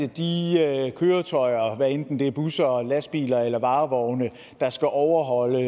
de køretøjer hvad enten det er busser eller lastbiler eller varevogne der skal overholde